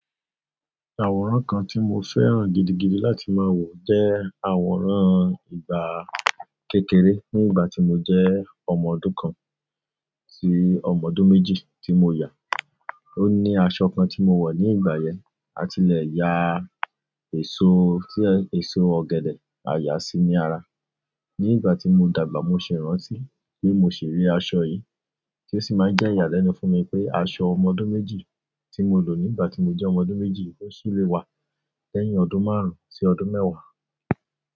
Àwòrán kan tí mo fẹ́ràn gidigidi láti máa wò jẹ́ àwòrán ìgbà kékeré ní ìgbà tí mo jẹ́ ọmọ ọdún kan sí ọmọ ọdún méjì tí mo yà. Ó ní aṣọ kan tí mo wọ̀ ní ìgbà yẹn, a tilẹ̀ ya èso tí èso ọ̀gẹ̀dẹ̀, a yàá síi ní ara. Ní ìgbà tí mo dàgbà, mo ṣe ìrántí pé mo ṣì rí aṣọ yìí tí ó sì máa ń jẹ́ ìyàlẹ́nu fún mi pé aṣọ ọmọ ọdún méjì tí mo lò nígbà tí mo jẹ́ ọmọ ọdún méjì ó ṣì lè wà lẹ́yìn ọdún márùn-ún sí ọdún mẹ́wàá.